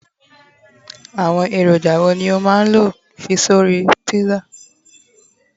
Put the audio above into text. àwọn èròjà wo ni o ma n fi sí orí pizza